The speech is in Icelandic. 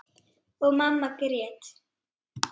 Og mamma grét.